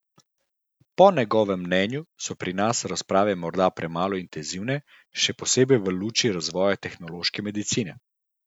Po njegovem mnenju so pri nas razprave morda premalo intenzivne, še posebej v luči razvoja tehnološke medicine.